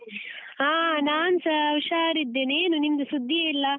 ಹಾ ನಾನ್ಸ ಉಷಾರಿದ್ದೇನೆ, ಏನು ನಿಮ್ದು ಸುದ್ದಿಯೇ ಇಲ್ಲ?